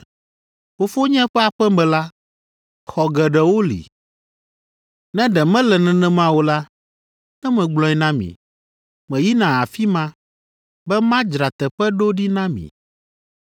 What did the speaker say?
Fofonye ƒe aƒe me la, xɔ geɖewo li, ne ɖe mele nenema o la, ne megblɔe na mi. Meyina afi ma, be madzra teƒe ɖo ɖi na mi.